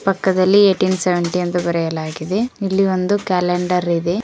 ಪಕ್ಕದಲ್ಲಿ eighteen seventy ಎಂದು ಬರೆಯಲಾಗಿದೆ ಇಲ್ಲಿ ಒಂದು ಕ್ಯಾಲೆಂಡರ್ ಇದೆ.